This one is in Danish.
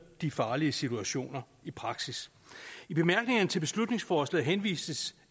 de farlige situationer i praksis i bemærkningerne til beslutningsforslaget henvises